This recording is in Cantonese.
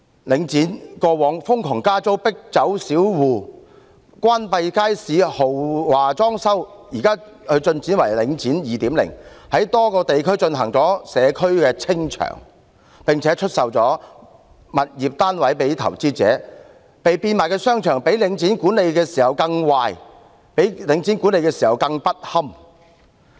領展過往瘋狂加租，迫走小戶，關閉街市，豪華裝修，現在更進化為"領展 2.0"， 在多個地區進行"社區清場"，並出售物業單位予投資者，被變賣的商場的管理較由領展管理時更壞和更不堪。